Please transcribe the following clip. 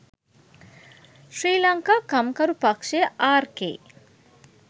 ශ්‍රී ලංකා කම්කරු පක්ෂය ආර්.කේ.